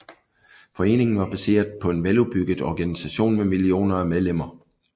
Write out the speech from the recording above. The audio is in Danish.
Foreningen var baseret på en veludbygget organisation med millioner af medlemmer